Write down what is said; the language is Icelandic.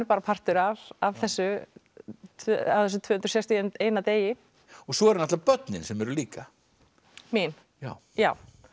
partur af af þessu þessum tvö hundruð sextíu og eitt degi og svo eru börnin sem eru líka mín já já